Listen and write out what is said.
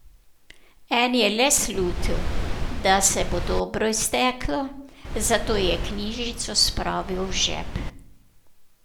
En je le slutil, da se bo dobro izteklo, zato je knjižico spravil v žep.